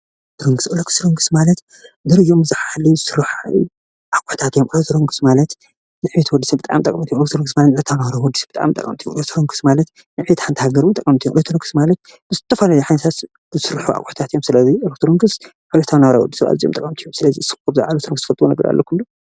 ኤሌክትሮንክስ ምቅስቃስስ ማለት ኣቁሑታት እዩም ኤሌክትሮኒክስ ማለት ድሕሪ ብዙሕዓመታት ክትጥቀመሎም እትክል ብጣዕሚ ጠቀምቲ ማለት ሃገር ኤሌክትሮኒስ ዝስርሑ ኣቁሑታት እዩም። ስለዚ ኤሌክትሮኒክስ እዩም።